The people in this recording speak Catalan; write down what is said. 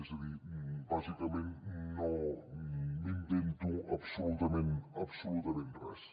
és a dir bàsicament no m’invento absolutament absolutament res